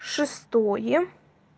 шестое